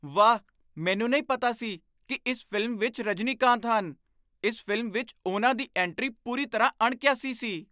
ਵਾਹ! ਮੈਨੂੰ ਨਹੀਂ ਪਤਾ ਸੀ ਕਿ ਇਸ ਫ਼ਿਲਮ ਵਿੱਚ ਰਜਨੀਕਾਂਤ ਹਨ। ਇਸ ਫ਼ਿਲਮ ਵਿੱਚ ਉਨ੍ਹਾਂ ਦੀ ਐਂਟਰੀ ਪੂਰੀ ਤਰ੍ਹਾਂ ਅਣਕਿਆਸੀ ਸੀ।